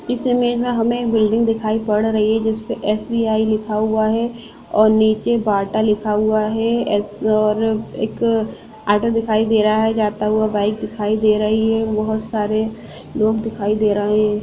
इस इमेज में हमे एक बिल्डिंग दिखाई पड़ रही है जिसपे एसबीआई लिखा हुआ है और नीचे बाटा लिखा हुआ है एस और एक ऑटो दिखाई दे रहा है जाता हुआ बाइक दिखाई दे रही है बहुत सारे लोग दिखाई दे रहे है।